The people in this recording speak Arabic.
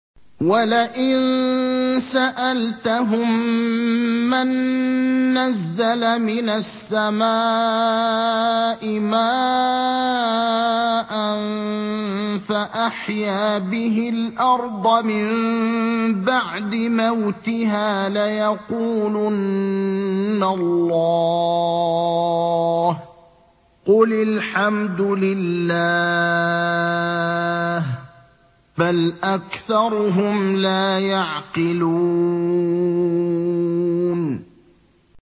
وَلَئِن سَأَلْتَهُم مَّن نَّزَّلَ مِنَ السَّمَاءِ مَاءً فَأَحْيَا بِهِ الْأَرْضَ مِن بَعْدِ مَوْتِهَا لَيَقُولُنَّ اللَّهُ ۚ قُلِ الْحَمْدُ لِلَّهِ ۚ بَلْ أَكْثَرُهُمْ لَا يَعْقِلُونَ